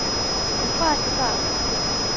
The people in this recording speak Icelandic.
En hvað ætti það að vera?